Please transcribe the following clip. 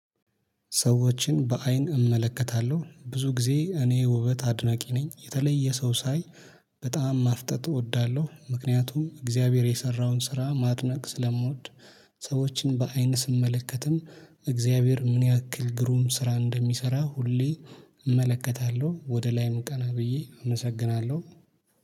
ሰዎችን በአይን እመለከታለሁ ብዙ ጊዜ እኔ ውበት አድናቂ ነኝ የተለየ ሰው ሳይ በጣም ማፍጠጥ እወዳለሁ ምክንያቱም እግዚአብሔር የሰራውን ስራ ማድነቅ ስለምወድ። ሰዎችን በአይን ስመለከትም እግዚአብሔር ምን ያክል ግሩም ስራ እንደሚሰራ ሁሌ እመለከታለሁ። ወደ ላይም ቀና ብዬ አመሰግናለሁ